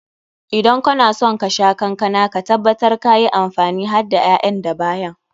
Idan kana son ka sha kankana, ka tabbatar ka yi amfani hadda ƴaƴan da bayan.